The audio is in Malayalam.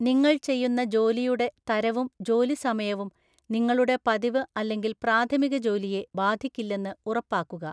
നിങ്ങൾ ചെയ്യുന്ന ജോലിയുടെ തരവും ജോലിസമയവും നിങ്ങളുടെ പതിവ് അല്ലെങ്കിൽ പ്രാഥമിക ജോലിയെ ബാധിക്കില്ലെന്ന് ഉറപ്പാക്കുക.